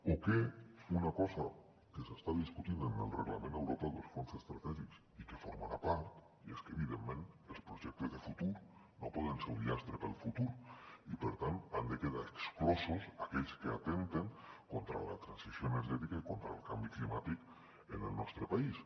o una cosa que s’està discutint en el reglament europeu dels fons estratègics i que en formarà part i és que evidentment els projectes de futur no poden ser un llast per al futur i per tant n’han de quedar exclosos aquells que atempten contra la transició energètica i contra el canvi climàtic en el nostre país